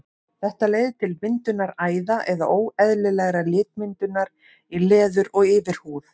Þetta leiðir til myndunar æða eða óeðlilegrar litmyndunar í leður- og yfirhúð.